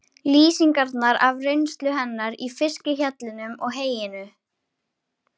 Lýsingarnar af reynslu hennar í fiskhjallinum og heyinu?